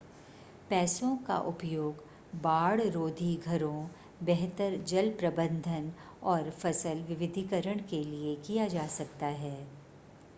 पैसों का उपयोग बाढ़-रोधी घरों बेहतर जल प्रबंधन और फसल विविधीकरण के लिए किया जा सकता है